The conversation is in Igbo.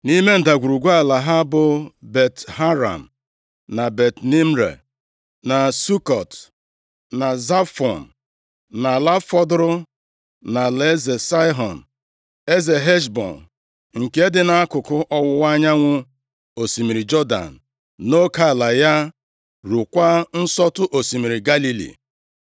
Nʼime ndagwurugwu ala ha bụ Bet-Haram, na Bet-Nimra, na Sukọt, na Zafọn, na ala fọdụrụ nʼalaeze Saịhọn eze Heshbọn, nke dị nʼakụkụ ọwụwa anyanwụ osimiri Jọdan nʼoke ala ya ruokwa nsọtụ osimiri Galili. + 13:27 Osimiri Galili bụkwa Osimiri Kineret